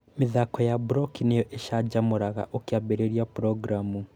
Mĩthako ya Blockly nĩo ĩcanjamũraga ũkĩambĩrïria programmu